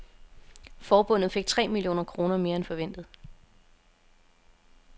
Forbundet fik tre millioner kroner mere end forventet.